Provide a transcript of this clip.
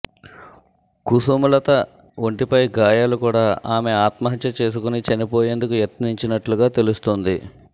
కుసుమలత ఒంటిపై గాయాలు కూడా ఆమె ఆత్మహత్య చేసుకుని చనిపోయేందుకు యత్నించినట్లుగా తెలుస్తోంది